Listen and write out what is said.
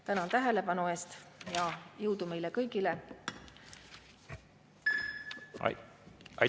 Tänan tähelepanu eest ja jõudu meile kõigile!